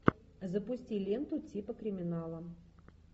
запусти ленту типа криминала